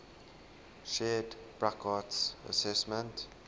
shared burckhardt's assessment